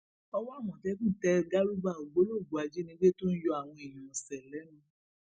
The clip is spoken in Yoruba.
owó àmọtẹkùn tẹ gàrúbà ògbólógbòó ajínigbé tó ń yọ àwọn èèyàn ọsẹ lẹnu